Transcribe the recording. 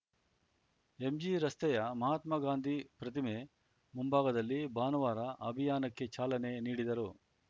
ಎಂಜಿರಸ್ತೆಯ ಮಹಾತ್ಮಗಾಂಧಿ ಪ್ರತಿಮೆ ಮುಂಭಾಗದಲ್ಲಿ ಭಾನುವಾರ ಅಭಿಯಾನಕ್ಕೆ ಚಾಲನೆ ನೀಡಿದರು